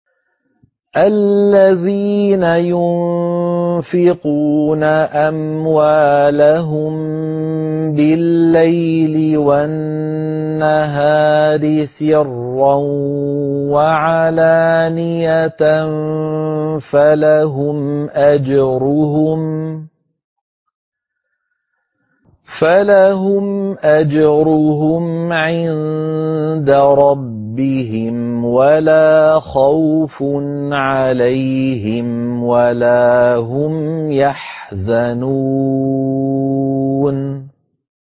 الَّذِينَ يُنفِقُونَ أَمْوَالَهُم بِاللَّيْلِ وَالنَّهَارِ سِرًّا وَعَلَانِيَةً فَلَهُمْ أَجْرُهُمْ عِندَ رَبِّهِمْ وَلَا خَوْفٌ عَلَيْهِمْ وَلَا هُمْ يَحْزَنُونَ